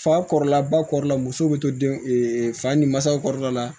Fa kɔrɔla ba kɔrɔ la muso bɛ to den fa ni mansaw kɔrɔla la